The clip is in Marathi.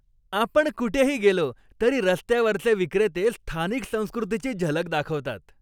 आपण कुठेही गेलो तरी रस्त्यावरचे विक्रेते स्थानिक संस्कृतीची झलक दाखवतात.